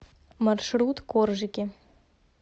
маршрут коржики